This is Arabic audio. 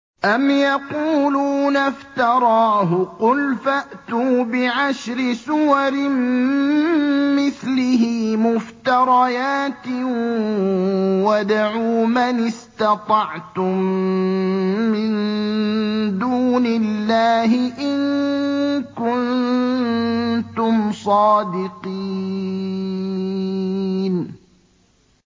أَمْ يَقُولُونَ افْتَرَاهُ ۖ قُلْ فَأْتُوا بِعَشْرِ سُوَرٍ مِّثْلِهِ مُفْتَرَيَاتٍ وَادْعُوا مَنِ اسْتَطَعْتُم مِّن دُونِ اللَّهِ إِن كُنتُمْ صَادِقِينَ